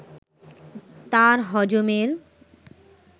তার হজমের